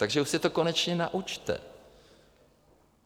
Takže se to už konečně naučte.